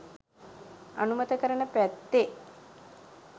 අනුමත කරන පැත්තේ.